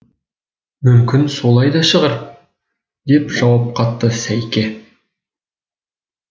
мүмкін солай да шығар деп жауап қатты сайке